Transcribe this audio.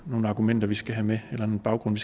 nogle argumenter vi skal have med eller en baggrund